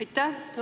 Aitäh!